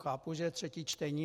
Chápu, že je třetí čtení.